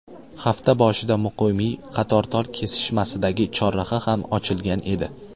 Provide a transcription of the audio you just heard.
Hafta boshida Muqimiy Qatortol kesishmasidagi chorraha ham ochilgan edi.